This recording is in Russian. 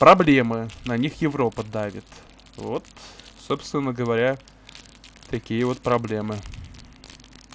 проблемы на них европа давит вот собственно говоря такие вот проблемы